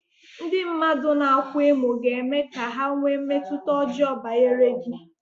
Ndị mmadụ na-akwa emo ga-eme ka ha nwee mmetụta ọjọọ banyere gị.